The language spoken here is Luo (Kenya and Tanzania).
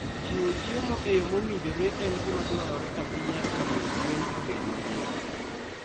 Chiwo chiemo e yo mowinjore en gima dwarore ahinya e miyo gwen obed mangima.